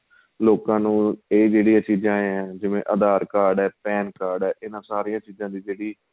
ਲੋਕਾਂ ਨੂੰ ਏ ਜਿਹੜੀਆਂ ਚੀਜਾਂ ਏ ਆਂ ਜਿਵੇਂ aadhar card ਏ ਜਿਵੇਂ PAN card ਏ ਇਹਨਾ ਸਾਰੀਆਂ ਚੀਜਾਂ ਦੀ ਜਿਹੜੀ